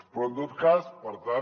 però en tot cas per tant